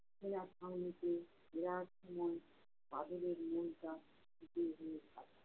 সেনাছাউনিতে নেওয়ার সময় বাদলের মনটা